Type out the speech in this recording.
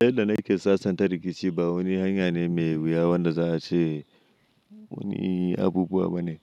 Yadda na ke sasanta rikici ba wani hanya ne mai wuya wanda za a ce wani abubuwa bane.